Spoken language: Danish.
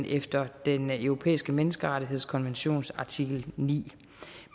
efter den europæiske menneskerettighedskonventions artikel niende